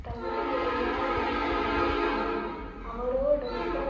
தகுதியுடையா ரினத்தானாய்த் தானும் அவரோ டொக்க